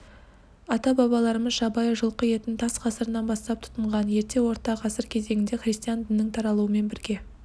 ата-бабаларымыз жабайы жылқы етін тас ғасырынан бастап тұтынған ерте орта ғасыр кезеңінде христиан дінінің таралуымен бірге